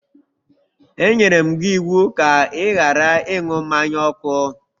E enyere gị iwu ka ị ghara ịṅụ mmanya ọkụ!